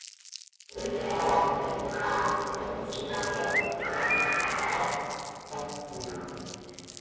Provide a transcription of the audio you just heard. Lykilorðin að þeim klúbbi voru: hrókur alls fagnaðar.